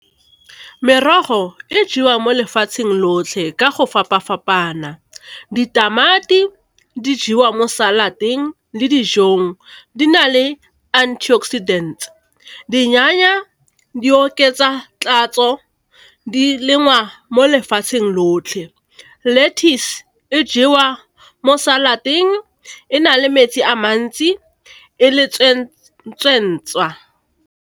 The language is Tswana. Merogo e jewa mo lefatsheng lotlhe ka go fapa fapana, ditamati di jewa mo salad-eng le dijong, di na le antioxidant. Dinyana di oketsa tatso di lengwa mo lefatsheng lotlhe. Lettuce e jewa mo salad-eng, e na le metsi a mantsi, e le .